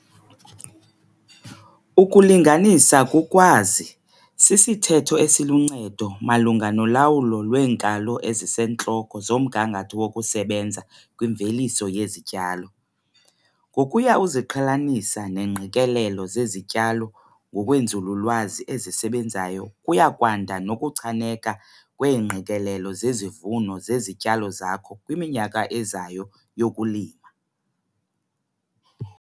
'Ukulinganisa kukwazi' sisithetho esiluncedo malunga nolawulo lweenkalo ezisentloko zomgangatho wokusebenza kwimveliso yezityalo. Ngokuya uziqhelanisa neengqikelelo zezityalo ngokweenzululwazi ezisebenzayo kuya kwanda nokuchaneka kweengqikelelo zezivuno zezityalo zakho kwiminyaka ezayo yokulima.